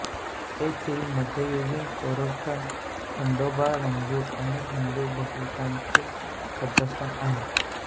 येथील मध्ययुगीन कोरठण खंडोबा मंदिर अनेक हिंदू भाविकांचे श्रद्धास्थान आहे